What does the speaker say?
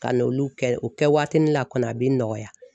Ka n'olu kɛ o kɛ watinin na kɔni a bɛ nɔgɔya.